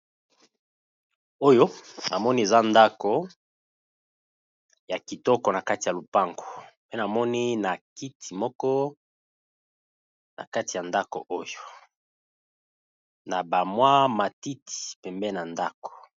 Oyo na moni eza ndaku ya kitoko, na kati ya lopango pe na moni na kiti moko na kati ya ndaku oyo, na ba mwa matiti pembeni na ndaku .